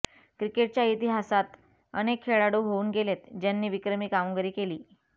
क्रिकेटच्या इतिहासात अनेक खेळाडू होऊन गेलेत ज्यांनी विक्रमी कामगिरी केली